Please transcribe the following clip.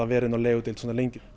verið á legudeild svona lengi